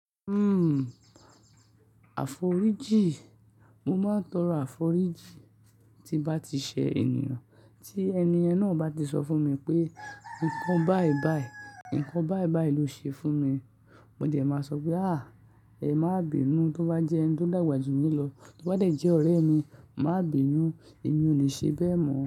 Uhm, àforíjì, mo máa ń tọrọ àforíjì tí bá ti ṣe ènìyàn, tí ẹni ẹniyàn náà bá ti sọ fún mi pé nǹkan báì báì, nǹkan báì báì ló ṣe fún mi. Mo dẹ̀ máa sọ pé à, ẹ má bìnu, tó bá jẹ́ ẹni tó dàgbà jù mí lọ, tó bá jẹ́ ọ̀rẹ́ mi, má bìnu, èmi ò le ṣe bẹ́ẹ̀ mọ.